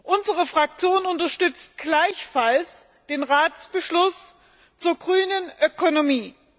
Unsere Fraktion unterstützt gleichfalls den Ratsbeschluss zur grünen Ökonomie.